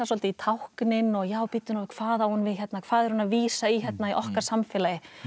í táknin og já bíddu nú við hvað á hún við hérna hvað er hún að vísa í hérna í okkar samfélagi